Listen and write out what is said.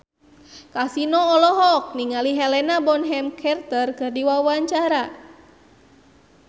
Kasino olohok ningali Helena Bonham Carter keur diwawancara